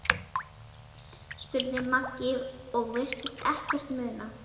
spurði Maggi og virtist ekkert muna.